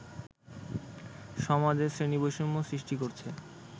সমাজে শ্রেণীবৈষম্য সৃষ্টি করছে